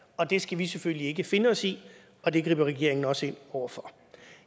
og det skal vi selvfølgelig ikke finde os i og det griber regeringen også ind over for